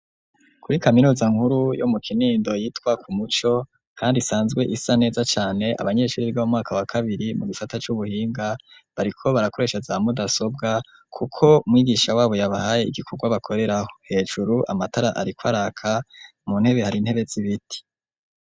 Kuri kaminuza nkuru yo mu Kinindo yitwa ku Umuco kandi isanzwe isa neza cane abanyeshuri mu mwaka wa kabiri mu gisata cubuhinga bariko barakoresha za mudasobwa kuko mwigisha wabo yabahaye igikorwa bakoreraho hejuru amatara ariko araka mu ntebe hari intebe z'ibiti.